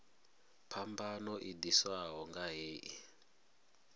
phambano i ḓiswaho nga hei